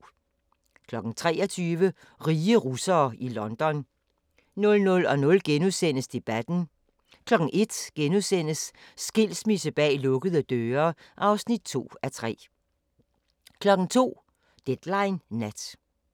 23:00: Rige russere i London 00:00: Debatten * 01:00: Skilsmisse bag lukkede døre (2:3)* 02:00: Deadline Nat